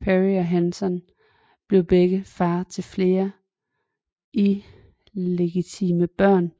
Peary og Henson blev begge far til flere illegitime børn